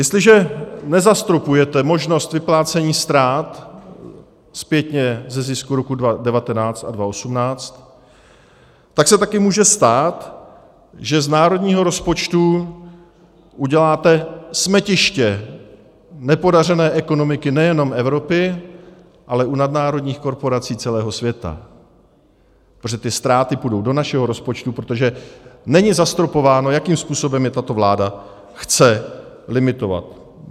Jestliže nezastropujete možnost vyplácení ztrát zpětně ze zisku roku 2019 a 2018, tak se taky může stát, že z národního rozpočtu uděláte smetiště nepodařené ekonomiky nejenom Evropy, ale i nadnárodních korporací celého světa, protože ty ztráty půjdou do našeho rozpočtu, protože není zastropováno, jakým způsobem je tato vláda chce limitovat.